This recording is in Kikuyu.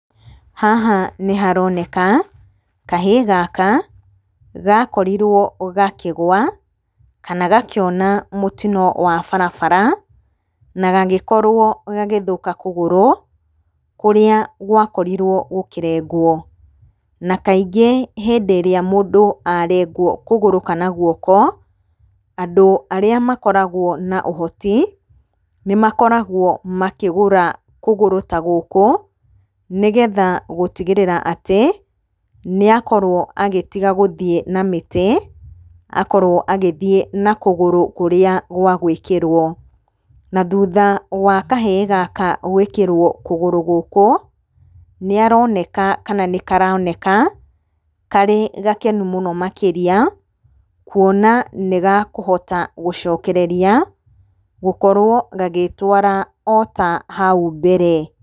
Haha nĩ haroneka, kahĩĩ gaka gakorirwo gakĩgũa kana gakĩona mũtino wa barabara na gagĩkorwo gagĩthũka kũgũrũ kũrĩa gwakorirwo gũkĩrengũo. Na kaingĩ hĩndĩ ĩrĩa mũndũ arengwo kũgũrũ kana guoko, andũ arĩa makoragwo na ũhoti nĩmakoragwo makĩgũra kũgũrũ ta gũkũ nĩgetha gũtigĩrĩra atĩ nĩakorwo agĩtiga gĩthiĩ na mĩtĩ akorwo agĩthiĩ na kũgũrũ kũrĩa gwa gũĩkĩrwo. Na thutha wa kahĩĩ gaka gũĩkĩrwo kũgũrũ gũkũ, nĩaroneka kana nĩkaroneka karĩ gakenu mũno makĩria kuona nĩgakũhota gũcokereria gũkorwo gagĩtwara ota hau mbere.